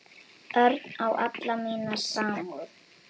Örn á alla mína samúð.